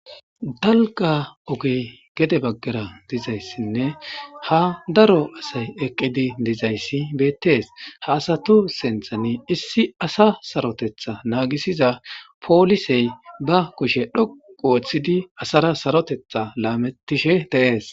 Dalga ogey gede baggara dizayssinne ha daro asay eqqidi dizayssi beettees ha asatu sinthani issi asa sarotetha naagisiza poolisey ba kushe dhoqu ooththidi asara sarotetha laamettishe deees